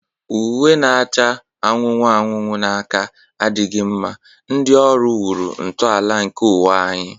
Uwe na-acha anụnụ anụnụ na aka adịghị mma, ndị ọrụ wuru ntọala nke ụwa anyị.